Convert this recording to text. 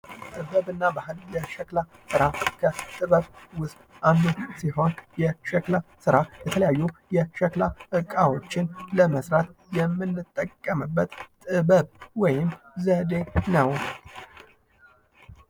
ጥበብ እና ባሕል ለሸክላ ስራ ከጥበብ ውስጥ አንዱ ሲሆን የሸክላ ስራ የተለያዩ የሸክላ እቃዎችን ለመስራት የምንጠቀበት ጥበብ ወይም ዘዴ ነው ።